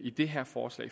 i det her forslag